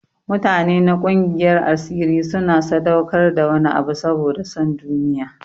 Mutane na gungiyar asiri suna sadaukar da wani abu saboda son duniya.